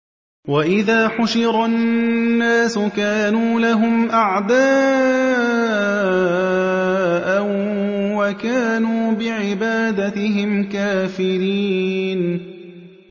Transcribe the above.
وَإِذَا حُشِرَ النَّاسُ كَانُوا لَهُمْ أَعْدَاءً وَكَانُوا بِعِبَادَتِهِمْ كَافِرِينَ